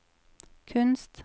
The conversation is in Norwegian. kunst